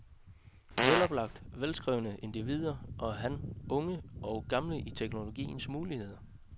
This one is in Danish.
Veloplagt og velskrivende indvier han unge og gamle i teknologiens muligheder.